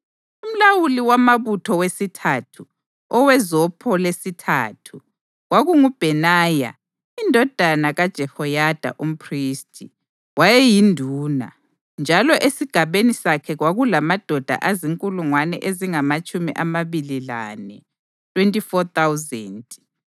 Umlawuli wamabutho wesithathu, owezopho lesithathu, kwakunguBhenaya indodana kaJehoyada umphristi. Wayeyinduna, njalo esigabeni sakhe kwakulamadoda azinkulungwane ezingamatshumi amabili lane (24,000).